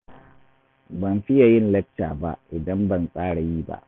Ban fiya yin lacca ba, idan ban tsara yi ba